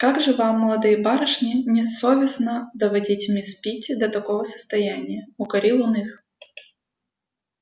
как же вам молодые барышни не совестно доводить мисс питти до такого состояния укорил он их